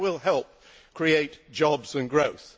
That will help create jobs and growth.